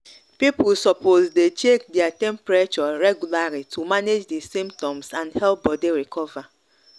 people suppose dey check their temperature regularly to manage di symptoms and help body recover